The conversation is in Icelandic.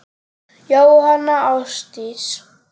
Jóhanna Ásdís.